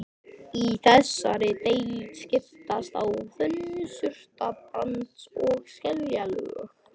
Í þessari deild skiptast á þunn surtarbrands- og skeljalög.